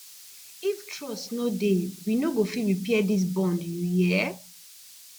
if trust no dey we no go fit repair dis bond you hear